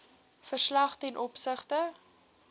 verslag ten opsigte